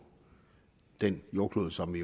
den jordkloden som vi